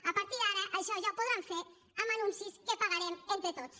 a partir d’ara això ja ho podran fer amb anuncis que pagarem entre tots